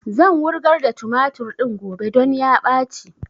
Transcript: Zan wurgar da tumatur din gobe don ya ɓaci